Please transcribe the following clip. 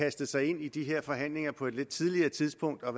kastet sig ind i de her forhandlinger på et lidt tidligere tidspunkt og